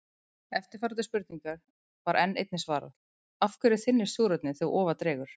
Eftirfarandi spurningu var einnig svarað: Af hverju þynnist súrefnið þegar ofar dregur?